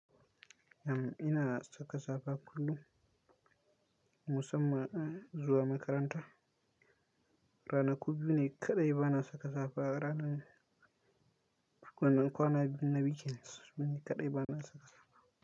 Am ina saka safa kullum, musamman zuwa makaranta. Ranaku biyu ne kaɗai ba na saka safa. Ranar, ranar kwana biyu na weekend sune kaɗai ba na saka safa.